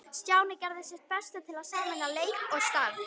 Stjáni gerði sitt besta til að sameina leik og starf.